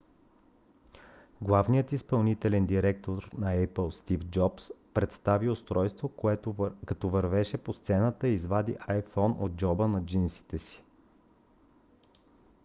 главният изпълнителен директор на apple стив джобс представи устройството като вървеше по сцената и извади iphone от джоба на джинсите си